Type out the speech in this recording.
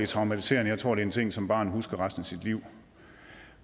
traumatiserende jeg tror det er en ting som barnet husker resten af sit liv